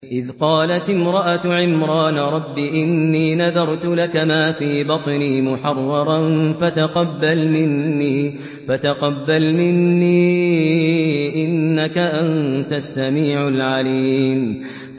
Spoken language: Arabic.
إِذْ قَالَتِ امْرَأَتُ عِمْرَانَ رَبِّ إِنِّي نَذَرْتُ لَكَ مَا فِي بَطْنِي مُحَرَّرًا فَتَقَبَّلْ مِنِّي ۖ إِنَّكَ أَنتَ السَّمِيعُ الْعَلِيمُ